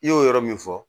I y'o yɔrɔ min fɔ